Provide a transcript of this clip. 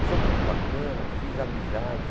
E foi muito bacana, fiz amizades.